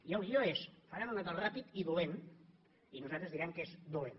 i el guió és faran un acord ràpid i dolent i nosaltres direm que és dolent